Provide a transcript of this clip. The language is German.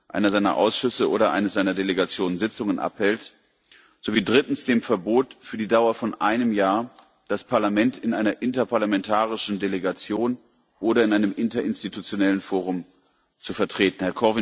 einer seiner Ausschüsse oder eine seiner Delegationen Sitzungen abhält, sowie 3 dem Verbot für die Dauer von einem Jahr, das Parlament in einer interparlamentarischen Delegation oder in einem interinstitutionellen Forum zu vertreten.